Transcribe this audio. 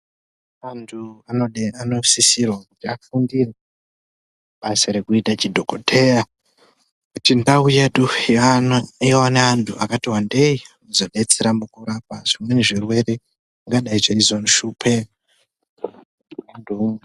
Antu anosisirwa kuti afundire kuita basa rekuite chidhokodheya kuti ndau yedu ione vantu vakati wandei kuzodetsera mukurapa nezvirwere zvingadai zveizoshupa vantu.